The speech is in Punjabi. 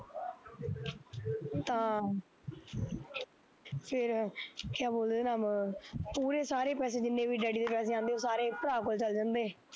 ਤਾਂ ਫਿਰ, ਕਿਆ ਬੋਲਦੇ ਉਹਦਾ ਨਾਮ, ਪੂਰੇ ਸਾਰੇ ਪੈਸੇ ਜਿੰਨੇ ਵੀ ਡੈਡੀ ਦੇ ਪੈਸੇ ਆਉਂਦੇ ਉਹ ਸਾਰੇ ਭਰਾ ਕੋਲ ਚੱਲ ਜਾਂਦੇ,